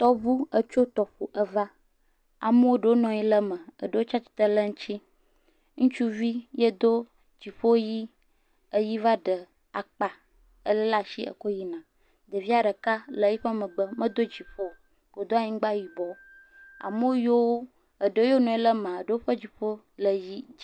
Tɔʋu etso tɔƒɔ eve, amea ɖewo nɔ anyi ɖe me eɖewo tsia tsitre ɖe eŋuti eva. Ŋustsuvi edo dziƒo ɣi va fiya eyi va ɖe akpa he do yina. Ɖevia ɖe le eƒe megbe, medo dziƒo o, wodo anyigba yibɔ. Ame yawo nɔ anyi de eme yiwo, eɖe yiwo nɔ anyi ɖe mea, woƒe dziƒo le ɣi.